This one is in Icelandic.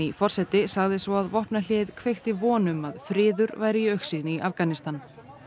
forseti sagði svo að vopnahléið kveikti von um að friður væri í augsýn í Afganistan